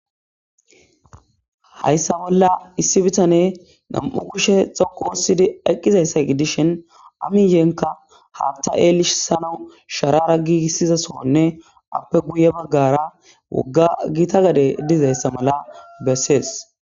Hayssa bolla issi bitaney nam'u kushe xoqu oothidi eqqizayssa gidishin a miyenkka haaththa elisanaw sharafa giigisiza sohonne appe guye baggara wogga gita gadey dizayssa mala bessees.